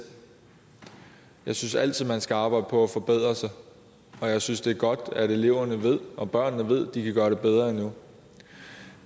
jeg synes altid man skal arbejde på at forbedre sig og jeg synes det er godt at eleverne og børnene ved at de kan gøre det bedre endnu